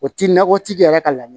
O ti nakɔtigi yɛrɛ ka laɲini ye